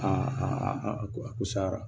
Aa ko a ko sara